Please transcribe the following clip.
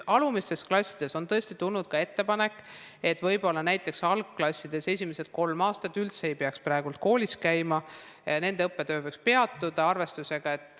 Nüüd, on tõesti tulnud ka ettepanek, et näiteks algklassid, esimesed kolm klassi üldse ei peaks praegu koolis käima, nende õppetöö võiks mingiks ajaks peatuda.